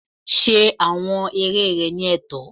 Ṣe awọn eré rẹ ni ẹtọ!